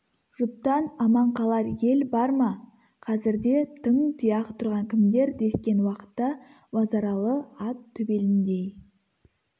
жұттан аман қалар ел бар ма қазірде тың тұяқ тұрған кімдер дескен уақытта базаралы ат төбеліндей